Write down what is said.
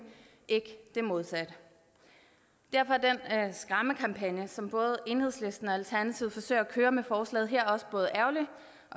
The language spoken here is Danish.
ikke det modsatte derfor er den skræmmekampagne som både enhedslisten og alternativet forsøger at køre med forslaget her også både ærgerlig